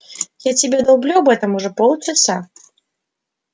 я тебе долблю об этом уже полчаса